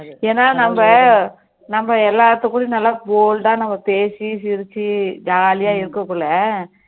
ஏன்னா நம்ம நம்ம எல்லார் கூடையும் நல்லா bold டா நம்ம பேசி சிரிச்சி jolly யா இருக்கிறதுனால